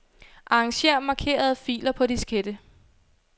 Arranger markerede filer på diskette.